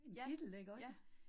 Ja, ja